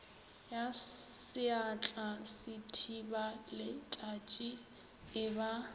ya seatla sethibaletšatši e ba